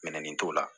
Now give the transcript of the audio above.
Mɛni t'o la